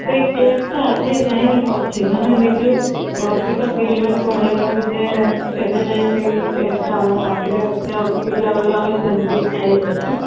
ସେଇ ସେଇ taste ଟା ଆଜି ଯାଏଁ ଅଛି ମାନେ ନିଜକୁ ଗର୍ବିତ feel ହୁଏ କହିବାକୁ ଯେ ଏବେ ଯାଏଁ ସେଇ taste ଟା ଆମ ପାଟିରେ ଅଛି ଆଉ ପିଲାବେଳୁ ଆମେ ସେମିତି ଖାଇ ଆସିଛୁ